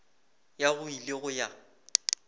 ya go ile go ya